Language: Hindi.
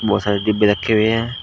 बहोत सारे डिब्बे रखे हुए हैं।